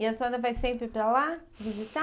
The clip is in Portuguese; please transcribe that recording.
E a senhora vai sempre para lá visitar?